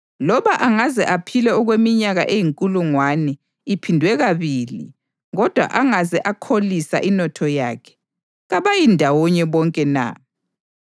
loba angaze aphile okweminyaka eyinkulungwane iphindwe kabili kodwa angaze akholisa inotho yakhe. Kabayi ndawonye bonke na?